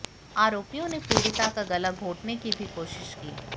आरोपियों ने पीड़िता का गला घोंटने की भी कोशिश की